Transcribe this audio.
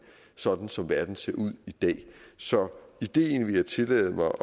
sådan som verden ser ud i dag så ideen vil jeg tillade mig